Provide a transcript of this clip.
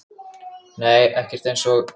Nei ekkert eins og